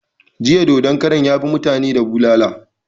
Jiya dodon karan ya bi mutani da bulala